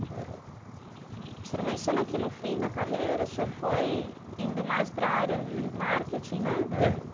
O senhor menciona que no fim da carreira, o senhor foi indo mais para área de marketing, né? Da.